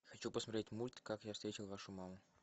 хочу посмотреть мульт как я встретил вашу маму